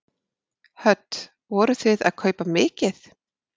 Hödd: Vorið þið að kaupa mikið?